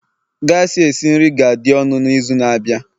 gas esi nri ga-adị ọnụ n'izu na-abịa